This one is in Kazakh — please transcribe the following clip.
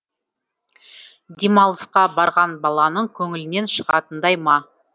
демалысқа барған баланың көңілінен шығатындай ма